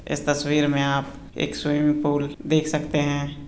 इस तस्वीर में आप एक स्विमिंग पूल देख सकते है।